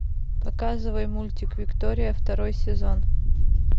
показывай мультик виктория второй сезон